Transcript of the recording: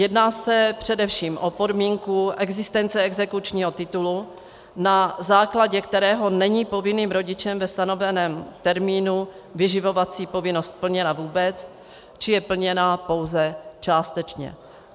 Jedná se především o podmínku existence exekučního titulu, na základě kterého není povinným rodičem ve stanoveném termínu vyživovací povinnost plněna vůbec, či je plněna pouze částečně.